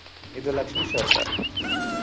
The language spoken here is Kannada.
ಇದು ಲಕ್ಷ್ಮೀಶ್ವರ sir .